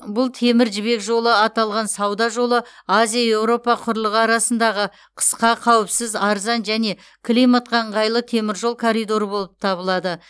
бұл темір жібек жолы аталған сауда жолы азия еуропа құрлығы арасындағы қысқа қауіпсіз арзан және климатқа ыңғайлы теміржол коридоры болып табылады